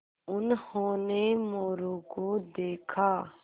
उन्होंने मोरू को देखा